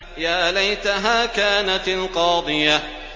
يَا لَيْتَهَا كَانَتِ الْقَاضِيَةَ